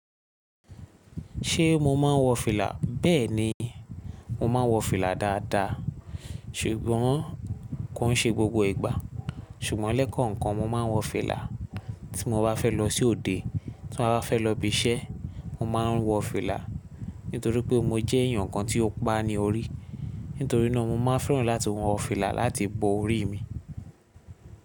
Ṣé mo máa ń wọ fìlà? Bẹ́ẹ̀ni, mo máa ń wọ fìlà dáadáa, ṣùgbọ́n kò ń ṣe gbogbo ìgbà. Ṣùgbọ́n lẹ́kọ̀ọ́kan mo máa ń wọ fìlà. Tí mo bá fẹ́ lọ sí òde, tí mo bá fẹ́ lọ ibi iṣẹ́, mo máa ń wọ fìlà, nítorí pé mo jẹ́ èèyàn kan tí ó pa ní orí. Nítorí náà mo máa fẹ́ràn láti wọ fìlà láti bo ori mi.